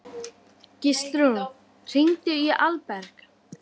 Gíslrún, hringdu í Alberg.